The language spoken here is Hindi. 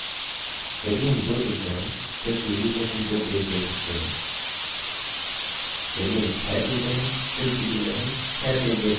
यदि हम 2 चुनते हैं फिर प्रीव्यू में हम दो पेज देख सकते हैं यदि हम 6 चुनते हैं फिर प्रीव्यू में हम दो पेज देख सकते हैं